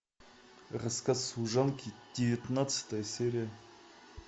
рассказ служанки девятнадцатая серия